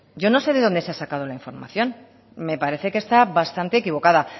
yo no sé de dónde se ha sacado la información me parece que está bastante equivocada